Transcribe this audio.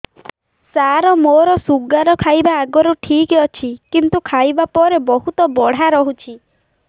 ସାର ମୋର ଶୁଗାର ଖାଇବା ଆଗରୁ ଠିକ ଅଛି କିନ୍ତୁ ଖାଇବା ପରେ ବହୁତ ବଢ଼ା ରହୁଛି